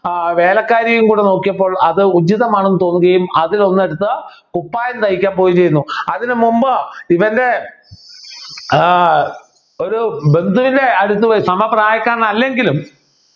ആഹ് വേലക്കാരിയും കൂടെ നോക്കിയപ്പോൾ അത് ഉചിതമാണെന്ന് തോന്നുക അതിലൊന്നെടുത്ത് കുപ്പായം തയ്ക്കാൻ പോയിരുന്നു അതിനുമുമ്പ് ഇവൻ്റെ ആഹ് ഒരു ബന്ധുവിൻ്റെ അടുത്തുപോയി സമപ്രായക്കാരൻ അല്ലെങ്കിലും